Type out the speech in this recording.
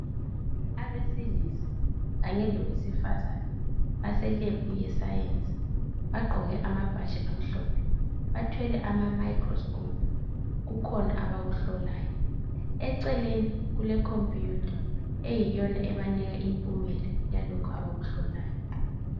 Abesilisa kanye lowesifazana baselebhu yesayensi bagqoke amabhatshi amhlophe bathwele imayikhirosikopu kukhona abakuhlolayo. Eceleni kulekompuyutha eyiyo ebanika imiphumela yalokho abakuhlolayo.